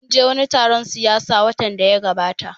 Mun je wani taron siyasa watan da ya gabata